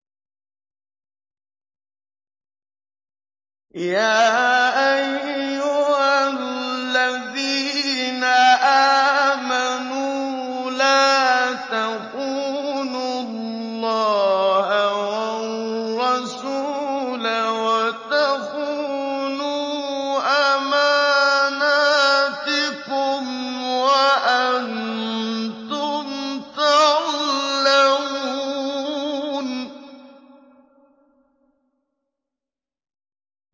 يَا أَيُّهَا الَّذِينَ آمَنُوا لَا تَخُونُوا اللَّهَ وَالرَّسُولَ وَتَخُونُوا أَمَانَاتِكُمْ وَأَنتُمْ تَعْلَمُونَ